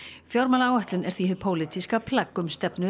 fjármálaáætlun er því hið pólitíska plagg um stefnu